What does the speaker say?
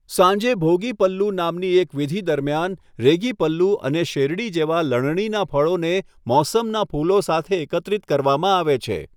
સાંજે, ભોગી પલ્લુ નામની એક વિધિ દરમિયાન, રેગી પલ્લુ અને શેરડી જેવા લણણીના ફળોને મોસમના ફૂલો સાથે એકત્રિત કરવામાં આવે છે.